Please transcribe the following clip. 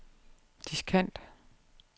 diskant